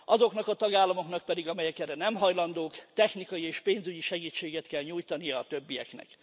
Azoknak a tagállamoknak pedig, amelyek erre nem hajlandók, technikai és pénzügyi segítséget kell nyújtania a többieknek.